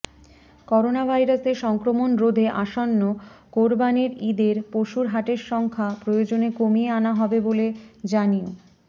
করোনাভাইরাসের সংক্রমণ রোধে আসন্ন কোরবানির ঈদের পশুর হাটের সংখ্যা প্রয়োজনে কমিয়ে আনা হবে বলে জানিয়